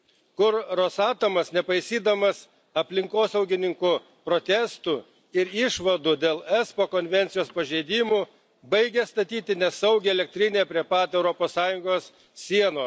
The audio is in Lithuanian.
kur Rusatomas, nepaisydamas aplinkosaugininkų protestų ir išvadų dėl ESPO Konvencijos pažeidimų, baigia statyti nesaugią elektrinę prie pat Europos Sąjungos sienos.